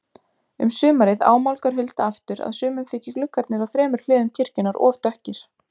Um sumarið ámálgar Hulda aftur að sumum þyki gluggarnir á þremur hliðum kirkjunnar of dökkir.